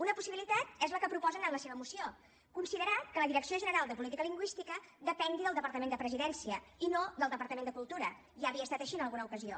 una possibilitat és la que proposen en la seva moció considerar que la direcció general de política lingüística depengui del departament de presidència i no del departament de cultura ja havia estat així en alguna ocasió